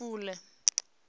lufule